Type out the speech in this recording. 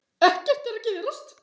Ekkert að gerast.